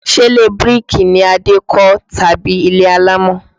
Ṣe ilé bíríkì ni Adé kó tàbí ilé alámọ̀?